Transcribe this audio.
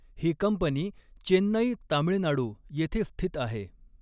ही company Chennai Tamil Nadu येथे स्थित आहे.